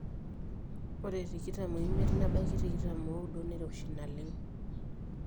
ore tikitam oimiet nebaiki tikitam ooudo neiroshi naleng